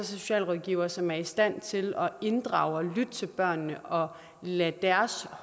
socialrådgivere som er i stand til at inddrage og lytte til børnene og lade deres